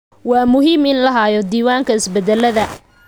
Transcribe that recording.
Waa muhiim in la hayo diiwaanka isbeddellada.